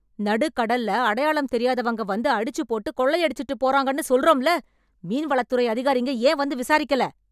நடுக்கடல்ல அடையாளம் தெரியாதவங்க வந்து அடிச்சுப்போட்டு கொள்ளையடிச்சுட்டு போறாங்கன்னு சொல்றோம்ல... மீன்வளத் துறை அதிகாரிங்க ஏன் வந்து விசாரிக்கல?